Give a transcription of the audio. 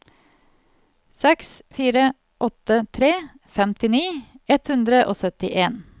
seks fire åtte tre femtini ett hundre og syttien